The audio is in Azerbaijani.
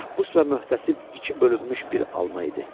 Məhbus və möhtəsib iki bölünmüş bir alma idi.